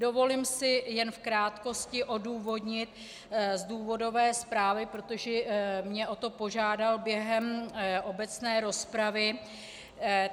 Dovolím si jen v krátkosti odůvodnit z důvodové zprávy, protože mě o to požádal během obecné rozpravy.